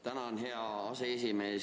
Tänan, hea aseesimees!